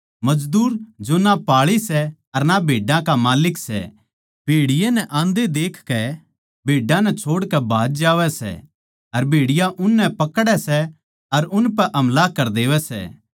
मजदूर जो ना पाळी सै अर ना भेड्डां का माल्लिक सै भेड़िये नै आन्दे देखकै भेड्डां नै छोड़कै भाज जावै सै अर भेड़िया उननै पकड़ै सै अर उनपै हमला करै देवै सै